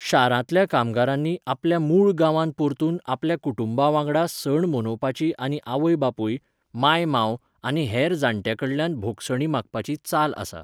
शारांतल्या कामगारांनी आपल्या मूळ गांवांत परतून आपल्या कुटुंबा वांगडा सण मनोवपाची आनी आवय बापूय, मांय मांव आनी हेर जाण्ट्यां कडल्यान भोगसणी मागपाची चाल आसा.